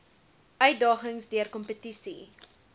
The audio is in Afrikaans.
uitdagings deur kompetisie